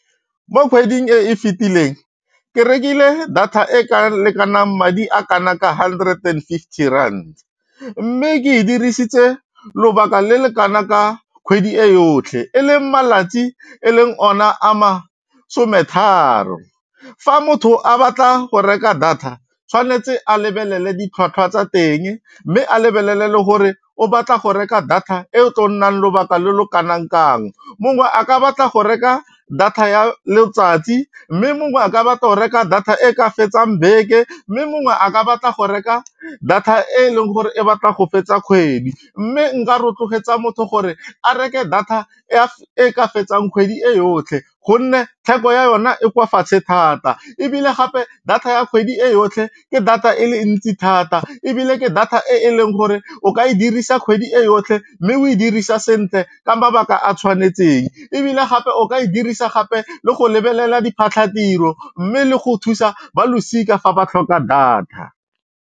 Mo kgweding e e fetileng, ke rekile data e ka lekanang madi a kana ka hundred and fifty rand, mme ke e dirisitse lobaka le le kana ka kgwedi e yotlhe e le malatsi e leng ona a masome tharo. Fa motho a batla go reka data tshwanetse a lebelele ditlhwatlhwa tsa teng mme a lebelele le gore o batla go reka data e e tlo nnang lobaka lo lo kanang kang, mongwe a ka batla go reka data ya letsatsi mme mongwe a ka batla go reka data e ka fetsang beke mme mongwe a ka batla go reka data e e leng gore e batla go fetsa kgwedi mme nka rotloetsa motho gore a reke data e ka fetsang kgwedi e yotlhe gonne theko ya yona e kwa fatshe thata ebile gape data ya kgwedi e yotlhe ke data e le ntsi thata ebile ke data e e leng gore o ka e dirisa kgwedi e yotlhe mme o e dirisa sentle ka mabaka a tshwanetseng ebile gape o ka e dirisa gape le go lebelela diphatlhatiro mme le go thusa ba losika fa ba tlhoka data.